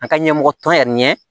An ka ɲɛmɔgɔ tɔn yɛrɛ ɲɛ